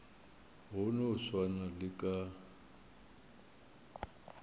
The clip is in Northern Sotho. go no swana le ka